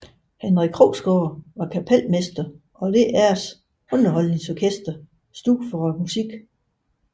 Henrik Krogsgaard var kapelmester og DRs underholdningsorkester stod for musikken